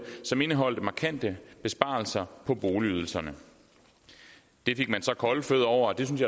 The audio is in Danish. som indeholdt markante besparelser på boligydelserne det fik man så kolde fødder over og det synes